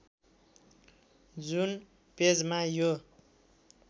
जुन पेजमा यो